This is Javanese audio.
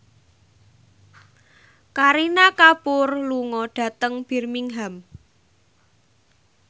Kareena Kapoor lunga dhateng Birmingham